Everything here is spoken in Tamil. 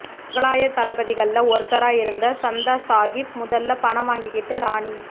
முகலாயத் தளபதிகள்ல ஒருத்தரா இருந்த சந்தா சாகிப் முதல்ல பணம் வாங்கிக்கிட்டு ராணி